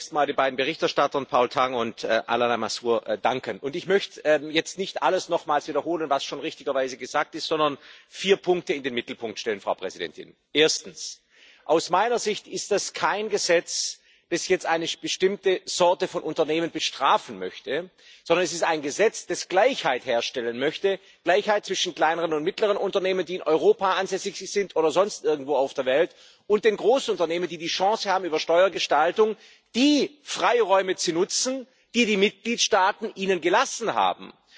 Ich möchte zunächst den beiden Berichterstattern, Paul Tang und Alain Lamassoure, danken. Ich möchte jetzt nicht alles nochmals wiederholen, was richtigerweise schon gesagt wurde, sondern vier Punkte in den Mittelpunkt stellen. Erstens Aus meiner Sicht ist das kein Gesetz, das jetzt eine bestimmte Sorte von Unternehmen bestrafen möchte, sondern es ist ein Gesetz, das Gleichheit herstellen möchte Gleichheit zwischen kleineren und mittleren Unternehmen, die in Europa ansässig sind oder sonst irgendwo auf der Welt, und den Großunternehmen, die die Chance haben, über Steuergestaltung die Freiräume zu nutzen, die die Mitgliedstaaten ihnen gelassen haben.